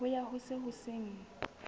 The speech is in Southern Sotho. ho ya ho se seng